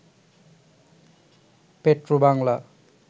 Petrobangla